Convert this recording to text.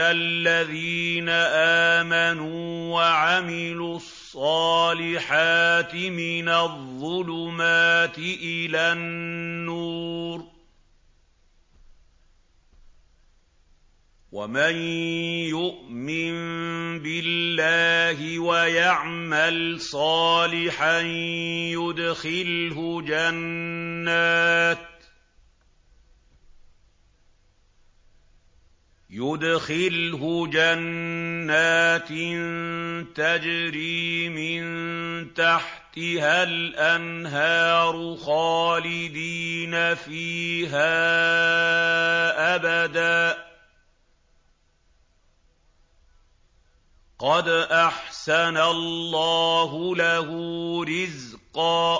الَّذِينَ آمَنُوا وَعَمِلُوا الصَّالِحَاتِ مِنَ الظُّلُمَاتِ إِلَى النُّورِ ۚ وَمَن يُؤْمِن بِاللَّهِ وَيَعْمَلْ صَالِحًا يُدْخِلْهُ جَنَّاتٍ تَجْرِي مِن تَحْتِهَا الْأَنْهَارُ خَالِدِينَ فِيهَا أَبَدًا ۖ قَدْ أَحْسَنَ اللَّهُ لَهُ رِزْقًا